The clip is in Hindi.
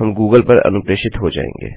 हम गूगल पर अनुप्रेषित हो जाएँगे